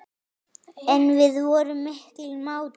En við vorum miklir mátar.